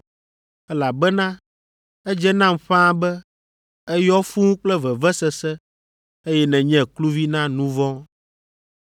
elabena edze nam ƒãa be, èyɔ fũu kple vevesese eye nènye kluvi na nu vɔ̃.”